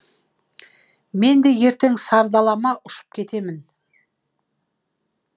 мен де ертең сардалама ұшып кетемін